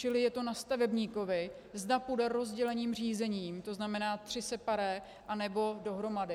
Čili je to na stavebníkovi, zda půjde rozděleným řízením, to znamená tři separé, anebo dohromady.